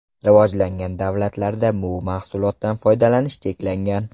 Rivojlangan davlatlarda bu mahsulotdan foydalanish cheklangan.